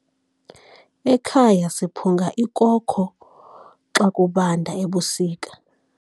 Ekhaya siphunga ikoko xa kubanda ebusika.